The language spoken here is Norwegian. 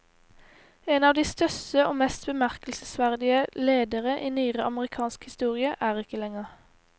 En av de største og mest bemerkelsesverdige ledere i nyere amerikansk historie er ikke lenger.